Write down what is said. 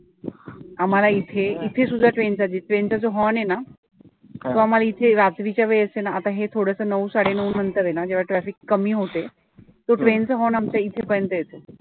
आम्हाला इथे इथे सुद्धा train चा train जो horn आहे ना तो आम्हाला इथे रात्रीच्या वेळेस आहे ना आता हे थोडसं नऊ साडे नऊनंतर आहे ना जेव्हा traffic कमी होते तो train चा horn आमच्या इथे पर्यंत येतो.